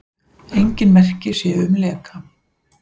Engin merki séu um leka